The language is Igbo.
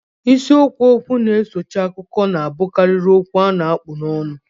Isiokwu okwu na-esochi akụkọ na-abụkarị okwu a kpụ n'ọnụ